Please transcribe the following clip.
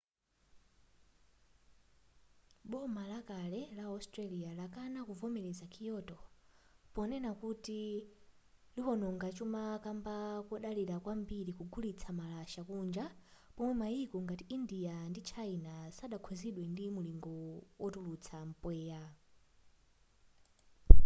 boma lakale la australia lakana kuvomereza kyoto ponena kuti liwononga chuma kamba kodalira kwambiri kugulitsa malasha kunja pomwe maiko ngati india ndi china sadakhuzidwe ndi mulingo wotulutsa mpweya